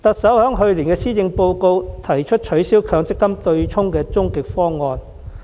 在去年的施政報告中，特首提出取消強積金對沖機制的終極方案。